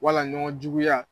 Wala ɲɔgɔn juguya